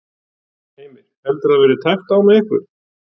Heimir: Heldurðu að það verði tæpt á með ykkur?